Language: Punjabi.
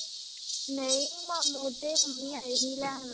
ਨਹੀਂ, ਮਾਮੂ ਤੇ, ਮੰਮੀ ਆਏ ਸੀ ਲੈਣ